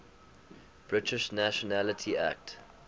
british nationality act